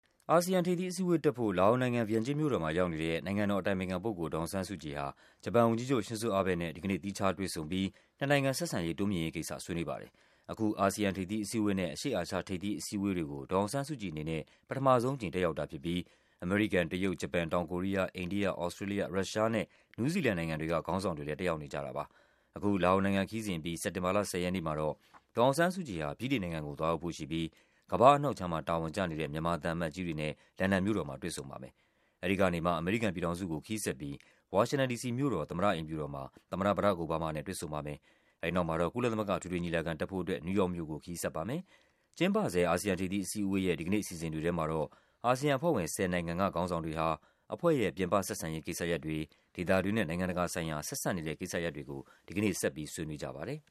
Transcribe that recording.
အာဆီယံထိပ်သီးအစည်းအဝေးတက်ဖို့ လာအိုနိုင်ငံ၊ ဗီယန်ကျင်းမြို့တော်မှာရောက်နေတဲ့ နိုင်ငံတော်အတိုင်ပင်ခံပုဂ္ဂိုလ် ဒေါ် အောင်ဆန်းစုကြည်ဟာ ဂျပန်ဝန်ကြီးချုပ် ရှင်ဇို့ အဘဲ့နဲ့ ဒီကနေ့ သီးခြားတွေ့ဆုံပြီး နှစ်နိုင်ငံဆက်ဆံရေး တိုးမြှင့်ရေးကိစ္စ ဆွေးနွေးပါတယ်။ အခု အာဆီယံထိပ်သီးအစည်းအဝေးနဲ့ အရှေ့အာရှထိပ်သီးအဝေးတွေကို ဒေါ်အောင်ဆန်းစုကြည်အနေနဲ့ ပထမဆုံးအကြိမ် တက်ရောက်တာဖြစ်ပြီး အမေရိကန်၊ တရုတ်၊ ဂျပန်၊ တောင်ကိုရီးယား၊ အိန္ဒိယ၊ သြစတြေးလျ၊ ရုရှားနဲ့ နယူးဇီလန်နိုင်ငံတွေက ခေါင်းဆောင်တွေလည်း တက်ရောက်နေကြတာပါ။ အခု လာအိုနိုင်ငံခရီးစဉ်အပြီး စက်တင်ဘာလ ၁၀ ရက်နေ့မှာတော့ ဒေါ်အောင်ဆန်းစုကြည်ဟာ ဗြိတိန်နိုင်ငံကို သွားရောက်ဖို့ရှိပြီး ကမ္ဘာ့အနောက်ခြမ်းမှာ တာဝန်ကျနေတဲ့ မြန်မာသံအမတ်ကြီးတွေနဲ့ လန်ဒန်မြို့တော်မှာ တွေ့ဆုံပါမယ်။ အဲဒီကနေမှ အမေရိကန်ပြည်ထောင်စုကို ခရီးဆက်ပြီး ဝါရှင်တန်ဒီစီမြို့တော် သမ္မတအိမ်ဖြူတော်မှာ သမ္မတ ဘရာ့ခ် အိုဘားမား နဲ့ တွေ့ဆုံပါမယ်။ အဲဒီနောက် ကုလသမဂ္ဂ အထွေထွေညီလာခံတက်ဖို့အတွက် နယူးယောက်မြို့ကို ခရီးဆက်ပါမယ်။ ကျင်းပဆဲ အာဆီယံထိပ်သီးအစည်းအဝေးရဲ့ ဒီကနေ့အစီအစဉ်တွေထဲမှာတော့ အာဆီယံအဖွဲ့ဝင် ၁၀ နိုင်ငံက ခေါင်းဆောင်တွေ ဟာ အဖွဲ့ရဲ့ ပြင်ပဆက်ဆံရေးကိစ္စရပ်တွေ၊ ဒေသတွင်းနဲ့ နိုင်ငံတကာဆိုင်ရာ ဆက်စပ်နေတဲ့ကိစ္စရပ်တွေကို ဒီကနေ့ ဆက်ပြီး ဆွေးနွေးကြပါတယ်။